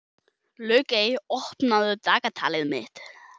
Laugey, opnaðu dagatalið mitt.